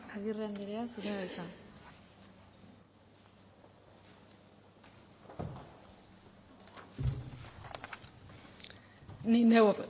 agirre andrea zurea da hitza ni neu